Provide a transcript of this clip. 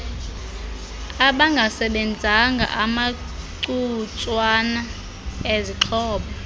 abangasebenzanga amacutswana ezixhobo